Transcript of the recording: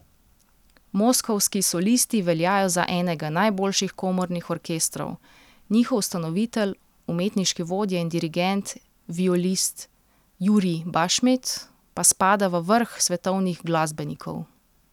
Moskovski solisti veljajo za enega najboljših komornih orkestrov, njihov ustanovitelj, umetniški vodja in dirigent, violist Jurij Bašmet, pa spada v vrh svetovnih glasbenikov.